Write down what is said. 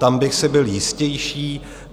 Tam bych si byl jistější.